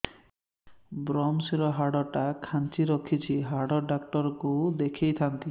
ଵ୍ରମଶିର ହାଡ଼ ଟା ଖାନ୍ଚି ରଖିଛି ହାଡ଼ ଡାକ୍ତର କୁ ଦେଖିଥାନ୍ତି